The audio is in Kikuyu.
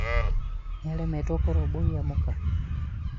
nĩ aremetwo kũrũmbũiya mũka?